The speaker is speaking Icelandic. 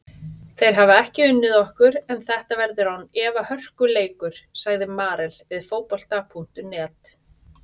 Þeir hafa ekki unnið okkur en þetta verður án efa hörkuleikur, sagði Marel við Fótbolta.net.